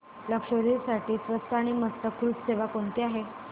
लक्षद्वीप साठी स्वस्त आणि मस्त क्रुझ सेवा कोणती आहे